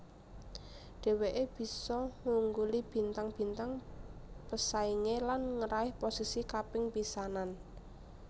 Dheweké bisa ngungguli bintang bintang pesaingé lan ngeraih posisi kaping pisanan